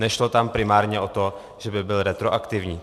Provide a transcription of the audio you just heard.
Nešlo tam primárně o to, že by byl retroaktivní.